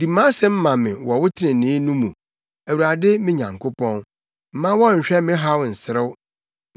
Di mʼasɛm ma me wɔ wo trenee no mu, Awurade me Nyankopɔn; mma wɔnnhwɛ me haw nserew.